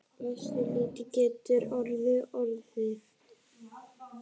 Hversu lítill getur örgjörvinn orðið?